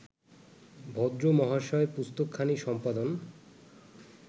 ভদ্র মহাশয় পুস্তকখানি সম্পাদন